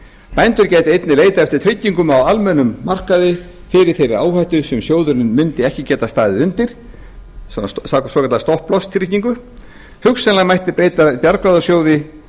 bændur gætu einnig leitað eftir tryggingum á almennum markaði fyrir þeirri áhættu sem sjóðurinn mundi ekki geta staðið undir samkvæmt svokallaðri stopplástryggingu hugsanlega mætti breyta bjargráðasjóði